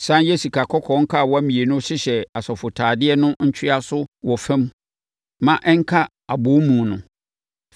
Sane yɛ sikakɔkɔɔ nkawa mmienu hyehyɛ asɔfotadeɛ no ntwea so wɔ fam ma ɛnka abɔwomu no.